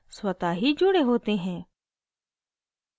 स्वतः ही जुड़े होते हैं